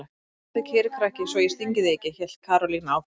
Stattu kyrr krakki svo ég stingi þig ekki! hélt Karólína áfram.